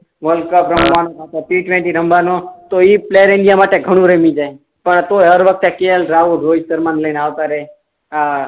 world cup રમવાનો અથવા તો ટી ટ્વેંટી રમવાનો તો ઈ પ્લેયર ઇન્ડિયા માટે ઘણું રમી જાય પણ તોય હર વખતે કે એલ રહુલ રોહિત શર્મા ને લઇ ને આવતા રેહ આ